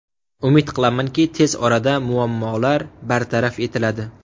Umid qilamanki, tez orada muammolar bartaraf etiladi.